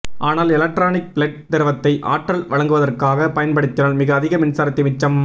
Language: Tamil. ஆனால் எலக்ட்ரானிக் பிளட் திரவத்தை ஆற்றல் வழங்குவதற்காக பயன்படுத்தினால் மிக அதிக மின்சாரத்தை மிச்சம்